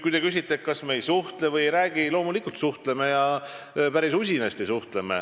Kui te küsite, kas me omavahel ei suhtle või ei räägi, siis ütlen, et loomulikult suhtleme ja päris usinasti.